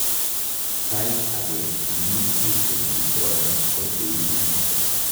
Saait ake immune system disorder ko cheibu